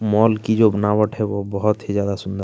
mall की जो बनावट है वो बहुत ही ज्यादा सुंदर --